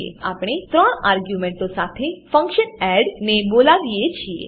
ત્યારબાદ આપણે ત્રણ આર્ગ્યુંમેંટો સાથે ફંક્શન એડ ને બોલાવીએ છીએ